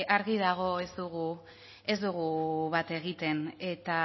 argi dago ez dugu bat egiten eta